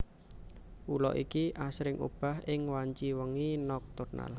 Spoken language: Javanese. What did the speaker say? Ula iki asring obah ing wanci wengi nokturnal